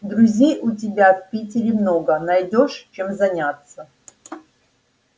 друзей у тебя в питере много найдёшь чем заняться